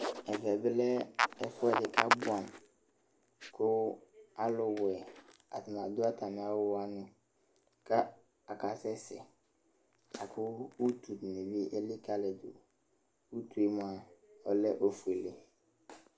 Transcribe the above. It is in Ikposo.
Ɛvɛ bɩ lɛ ɛfʋɛdɩ kʋ abʋɛamʋ kʋ alʋwɛ, atanɩ adʋ atamɩ awʋ wanɩ kʋ akasɛsɛ la kʋ utu dɩnɩ bɩ elikǝlidu Utu yɛ mʋa, ɔlɛ ofuele